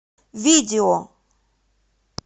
видео